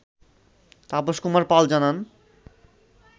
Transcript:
তাপস কুমার পাল জানান